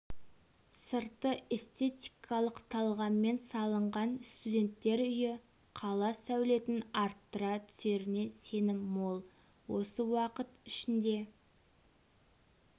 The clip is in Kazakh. сырты эстетикалық талғаммен салынған студенттер үйі қала сәулетін арттыра түсеріне сенім мол осы уақыт ішінде